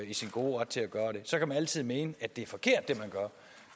i sin gode ret til at gøre det så kan man altid mene at det er forkert